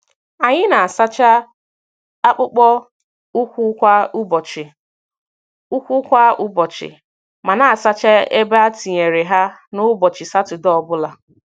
Anyị na-asacha akpụkpọ ụkwụ kwa ụbọchị, ụkwụ kwa ụbọchị, ma na-asacha ebe e tinyere ha n’ụbọchị Satọdee obula.